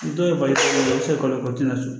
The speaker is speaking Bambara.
Dɔw ye balisi e tɛ se ka u tɛna sɔn